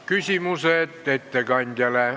Küsimused ettekandjale.